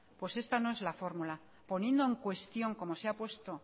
pues esta no es la fórmula poniendo en cuestión como se ha puesto